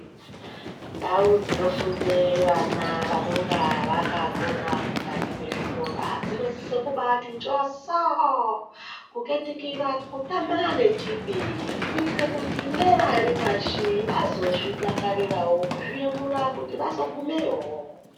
Ndao dzinofunda vana vanenge vakakona mukati vechikora dzinosisa kubati njoso kukatikitira kutama exhibit kuitira kuti nevaripashi vazozvidakarirawo kuzviyemura kuti vazogumeyowo.